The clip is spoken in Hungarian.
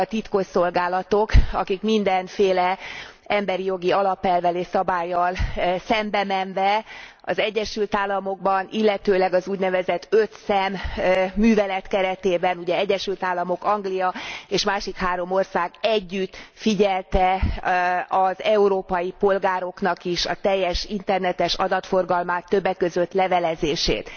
azok a titkosszolgálatok, amelyek mindenféle emberi jogi alapelvvel és szabállyal szembemenve az Egyesült Államokban, illetőleg az úgynevezett öt szem művelet keretében ugye Egyesült Államok, Anglia és másik három ország együtt figyelte az európai polgároknak is a teljes internetes adatforgalmát, többek között levelezését.